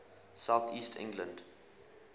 south east england